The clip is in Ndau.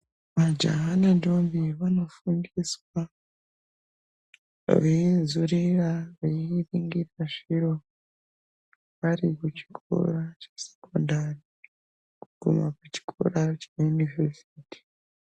Majaya nentombi vanofundiswa vanzorera veingiira zviro vari kuchikora chesekondari kana kuchikora cheyunivhesiti.